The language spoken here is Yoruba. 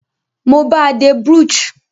Mo bàa de brooch